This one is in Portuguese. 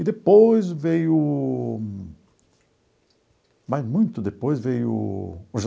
E depois veio, mas muito depois, veio o